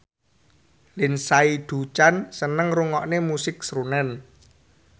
Lindsay Ducan seneng ngrungokne musik srunen